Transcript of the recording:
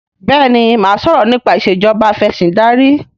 béèni má sọrọ nipa Ìṣèjọba Afẹ̀sìndarí.